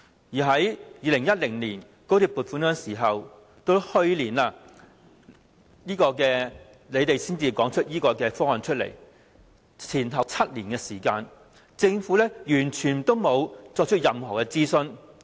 從2010年高鐵撥款到去年政府提出此方案，前後7年時間，政府完全沒有進行任何諮詢。